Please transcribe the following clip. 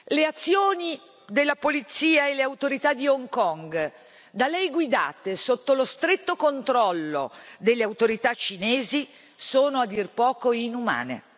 Le azioni della polizia e delle autorità di Hong Kong da lei guidate sotto lo stretto controllo delle autorità cinesi sono a dir poco inumane.